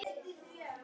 Hann minnti á hafið.